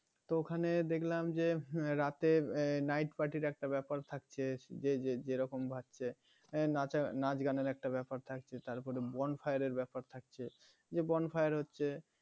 তো ওখানে দেখলাম যে রাতে night party র একটা ব্যাপার থাকছে যে যেরকম . নাচা~ নাচ গানের একটা ব্যাপার থাকছে তারপরে bonfire এর ব্যাপার থাকছে যে bonfire হচ্ছে